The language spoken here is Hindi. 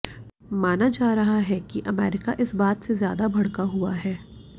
माना जा रहा है कि अमेरिका इस बात से ज्यादा भड़का हुआ है